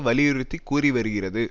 வலியுறுத்தி கூறி வருகிறது